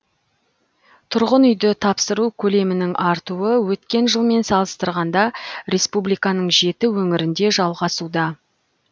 тұрғын үйді тапсыру көлемінің артуы өткен жылмен салыстырғанда республиканың жеті өңірінде жалғасуда